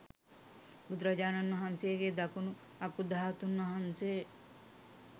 බුදුරජාණන් වහන්සේගේ දකුණු අකු ධාතුන් වහන්සේ